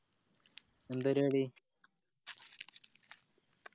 എന്താ പരിവാടി